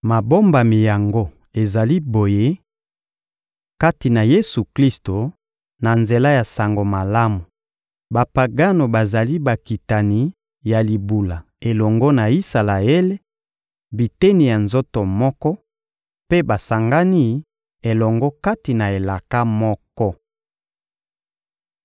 Mabombami yango ezali boye: Kati na Yesu-Klisto, na nzela ya Sango Malamu, Bapagano bazali bakitani ya libula elongo na Isalaele, biteni ya nzoto moko, mpe basangani elongo kati na elaka moko.